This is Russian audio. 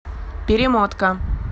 перемотка